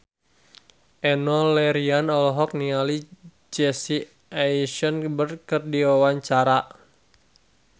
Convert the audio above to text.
Enno Lerian olohok ningali Jesse Eisenberg keur diwawancara